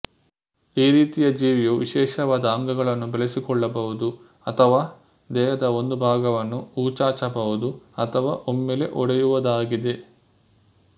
ಈ ರೀತಿಯ ಜೀವಿಯು ವಿಶೇಷವಾದ ಅಂಗಗಳನ್ನು ಬೆಳೆಸಿಕೊಳ್ಳಬಹುದು ಅಥವಾ ದೇಹದ ಒಂದು ಬಾಗವನ್ನು ಹೊಚಾಚಬಹುದು ಅಥವಾ ಒಮ್ಮೆಲೆ ಒಡೆಯುವದಾಗಿದೆ